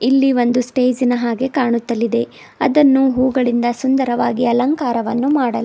ಇಲ್ಲಿ ಒಂದು ಸ್ಟೇಜ್ ಇನ ಹಾಗೆ ಕಾಣುತ್ತಲಿದೆ ಅದನ್ನು ಹೂಗಳಿಂದ ಸುಂದರವಾಗಿ ಅಲಂಕಾರವನ್ನು ಮಾಡಲಾ --